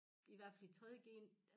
I hvert fald i 3. g